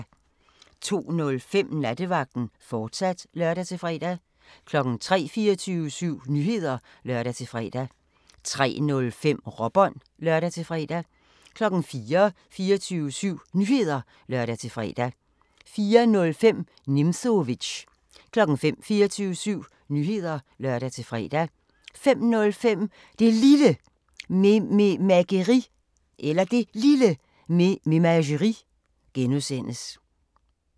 02:05: Nattevagten, fortsat (lør-fre) 03:00: 24syv Nyheder (lør-fre) 03:05: Råbånd (lør-fre) 04:00: 24syv Nyheder (lør-fre) 04:05: Nimzowitsch 05:00: 24syv Nyheder (lør-fre) 05:05: Det Lille Mememageri (G)